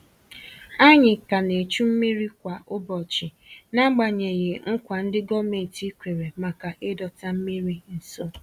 Ànyị ka ná echu mmiri kwa ụbọchị n'agbanyeghị nkwa ndi gọọmenti kwèrè maka ịdọta mmiri nso